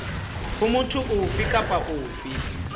ho motho ofe kapa ofe